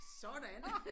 Sådan!